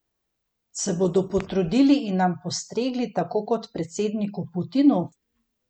Se bodo potrudili in nam postregli tako kot predsedniku Putinu?